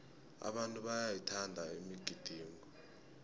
abantu bayayithanda imigidingo